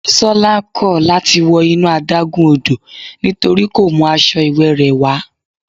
Bisola kò láti wọ inú adágún odò nítorí kò mú aṣọ ìwẹ̀ rẹ̀ wá.